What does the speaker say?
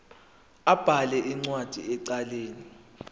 abhale incwadi ecela